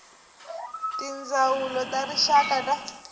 tindzawulo ta rixaka na ta